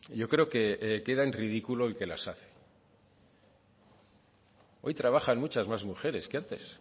yo creo que queda en ridículo el que las hace hoy trabajan muchas más mujeres que antes